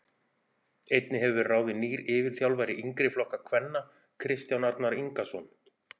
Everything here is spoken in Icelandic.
Einnig hefur verið ráðin nýr yfirþjálfari yngri flokka kvenna Kristján Arnar Ingason.